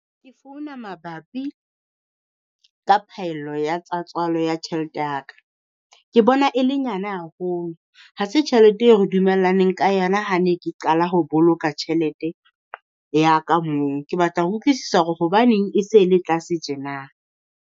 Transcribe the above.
Ke founa mabapi ka phaello ya tsa tswalo ya tjhelete ya ka. Ke bona e le nyane haholo, ha se tjhelete eo re dumellaneng ka yona ha ne ke qala ho boloka tjhelete ya ka moo. Ke batla ho utlwisisa hore hobaneng e se le tlase tjena?